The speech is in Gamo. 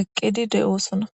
eqqidi de7oosona